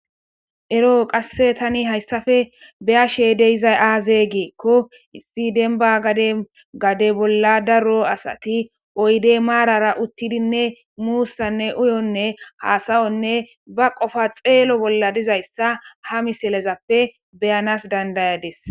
Ero qase tani hayssafe be'ashe de'izay aaze giiko issi demba gaden gade bolla daro asati oyde maarara uttidinne muusanne uyonne hassa'onne ba qofa xeelo bolla dizayssa ha misilezappe be'anas dandayadis